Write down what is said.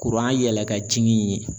yɛlɛ ka jigin in ye.